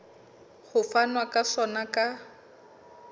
ho fanwa ka sona ka